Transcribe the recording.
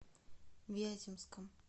вяземском